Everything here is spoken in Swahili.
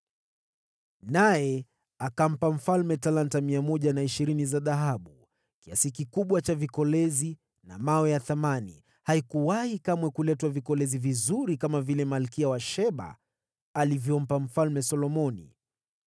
Naye akampa mfalme talanta 120 za dhahabu, kiasi kikubwa cha vikolezi na vito vya thamani. Haikuwahi kamwe kuletwa vikolezi vizuri kama vile Malkia wa Sheba alivyompa Mfalme Solomoni.